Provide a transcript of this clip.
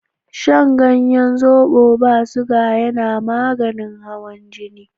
Shan ganyen zobo ba siga yana maganin hawan jini.